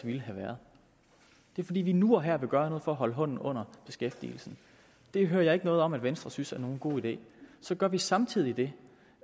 ville have været det er fordi vi nu og her vil gøre noget for at holde hånden under beskæftigelsen det hører jeg ikke noget om at venstre synes er en god idé så gør vi samtidig det